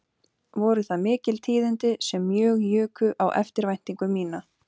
Voru það mikil tíðindi sem mjög juku á eftirvæntingu mína